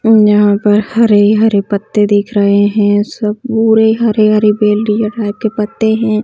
और यहाँ पर हरे-हरे पत्ते दिख रहे है सब पुरे हरे-हरे बेलरिया टाइप के पत्ते है।